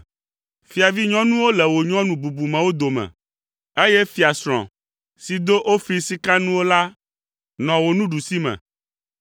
Fiavinyɔnuwo le wò nyɔnu bubumewo dome, eye fiasrɔ̃ si do Ofir Sikanuwo la nɔ wò nuɖusime.